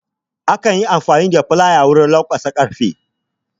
Akan Yi amfani da Filaya wajen lanƙwasa karfe